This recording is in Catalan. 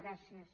gràcies